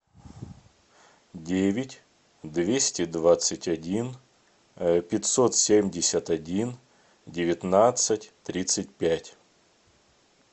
девять двести двадцать один пятьсот семьдесят один девятнадцать тридцать пять